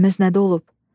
Səhvimiz nədə olub?